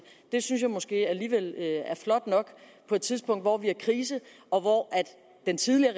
det synes jeg måske alligevel er lige flot nok på et tidspunkt hvor vi har krise og hvor den tidligere